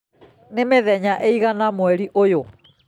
nĩ mĩthenya ĩigana mweri ũyũ?